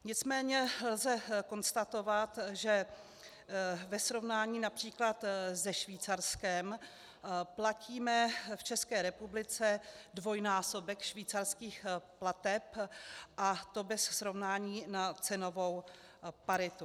Nicméně lze konstatovat, že ve srovnání například se Švýcarskem platíme v České republice dvojnásobek švýcarských plateb, a to bez srovnání na cenovou paritu.